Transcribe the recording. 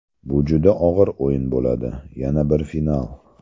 Bu juda og‘ir o‘yin bo‘ladi, yana bir final.